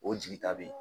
O jigi ta be ye